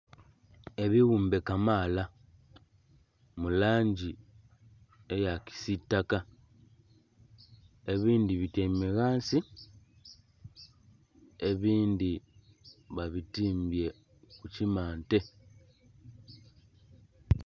Ebiwuumbe kamaala mu langi eya kisitaka ebindhi bityaime ghansi ebindhi ba bitimbye ku kimante.